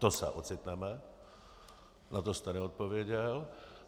To se ocitneme, na to jste neodpověděl.